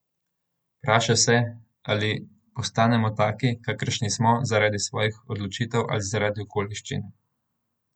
Vpraša se, ali postanemo taki, kakršni smo, zaradi svojih odločitev ali zaradi okoliščin.